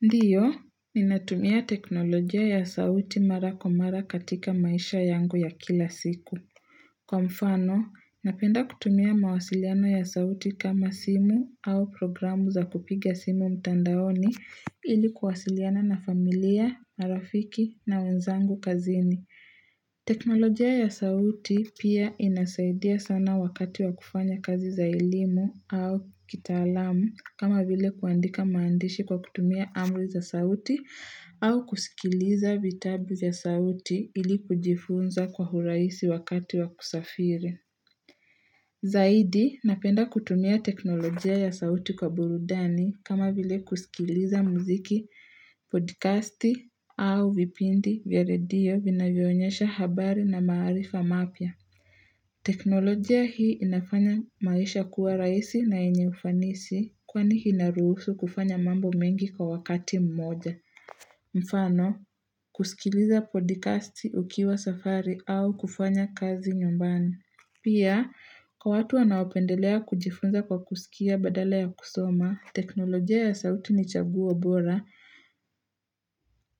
Ndio, ninatumia teknolojia ya sauti mara kwa mara katika maisha yangu ya kila siku. Kwa mfano, napenda kutumia mawasiliano ya sauti kama simu au programu za kupiga simu mtandaoni ili kuwasiliana na familia, marafiki na wenzangu kazini. Teknolojia ya sauti pia inasaidia sana wakati wa kufanya kazi za elimu au kitaalamu kama vile kuandika maandishi kwa kutumia amri za sauti au kusikiliza vitabu za sauti ilikujifunza kwa urahisi wakati wa kusafiri Zaidi napenda kutumia teknolojia ya sauti kwa burudani kama vile kusikiliza muziki, podcasti au vipindi vya radio vinavyoonyesha habari na maarifa mapya. Teknolojia hii inafanya maisha kuwa rahisi na yenye ufanisi kwani inaruhusu kufanya mambo mengi kwa wakati mmoja. Mfano, kusikiliza podcasti ukiwa safari au kufanya kazi nyumbani. Pia, kwa watu wanaopendelea kujifunza kwa kusikia badala ya kusoma, teknolojia ya sauti ni chaguo bora.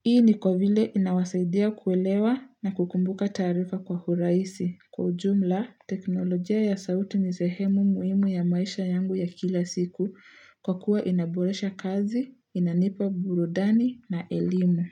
Hii ni kwa vile inawasaidia kuelewa na kukumbuka taarifa kwa urahisi. Kwa ujumla, teknolojia ya sauti ni sehemu muhimu ya maisha yangu ya kila siku kwa kuwa inaboresha kazi, inanipa burudani na elimu.